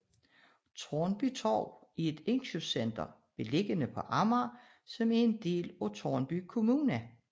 Tårnby Torv er et indkøbscenter beliggende på Amager som en del af Tårnby Kommune